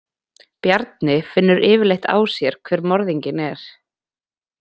Bjarni finnur yfirleitt á sér hver morðinginn er.